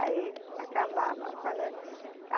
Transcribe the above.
Aí acabava. Quando a